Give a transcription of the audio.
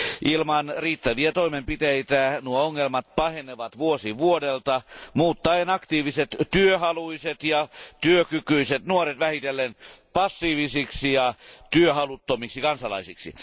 Ilman riittäviä toimenpiteitä nuo ongelmat pahenevat vuosi vuodelta muuttaen aktiiviset, työhaluiset ja työkykyiset nuoret vähitellen passiivisiksi ja työhaluttomiksi kansalaisiksi.